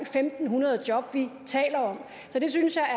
fem hundrede job vi taler om jeg synes at